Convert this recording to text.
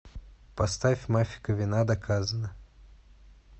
поставь мафика вина доказана